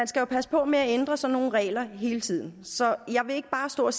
skal passe på med at ændre sådan nogle regler hele tiden så jeg vil ikke bare stå og